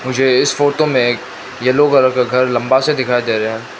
मुझे इस फोटो में एक येलो कलर का घर लंबा से दिखाई दे रहे हैं।